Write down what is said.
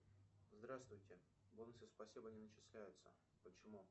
здравствуйте бонусы спасибо не начисляются почему